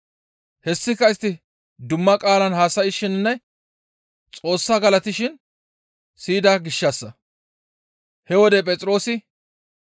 Hessika istti dumma qaalan haasayshininne Xoossa galatishin siyida gishshassa. He wode Phexroosi,